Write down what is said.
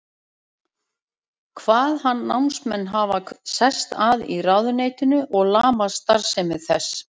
Kvað hann námsmenn hafa sest að í ráðuneytinu og lamað starfsemi þess.